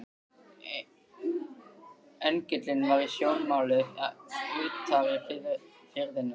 Engillinn var í sjónmáli utar í firðinum.